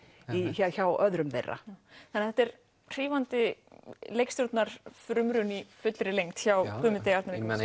hjá öðrum þeirra þetta er hrífandi leikstjórnar frumraun í fullri lengd hjá Guðmundi Arnari